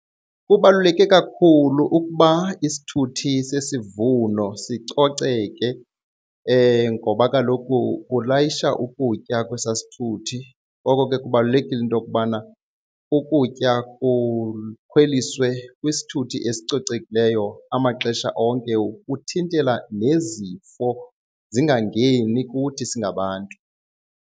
Kubaluleke kakhulu ukuba isithuthi sesivuno sicoceke ngoba kaloku ulayisha ukutya kwesaa sithuthi ngoko ke kubalulekile into okubana ukutya kukhweliswe kwisithuthi esicocekileyo amaxesha onke ukuthintela nezifo zingangeni kuthi singabantu.